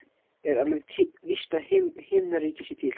Er alveg víst að himnaríki sé til?